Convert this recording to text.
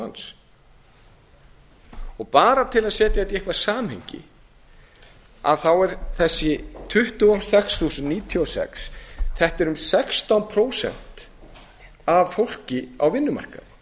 manns og bara til að setja þetta í eitthvað samhengi þá er þessi tuttugu og sex þúsund og níutíu og sex um sextán prósent af fólki á vinnumarkaði